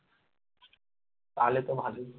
তাহলে তো ভালই